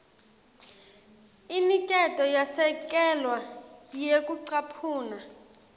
iniketwe yasekelwa ngekucaphuna